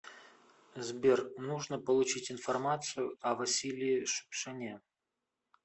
сбер нужно получить информацию о василии шукшине